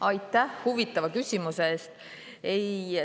Aitäh huvitava küsimuse eest!